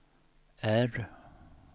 R